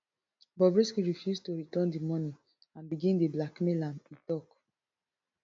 bobrisky refuse to return di money and begin dey blackmail am e tok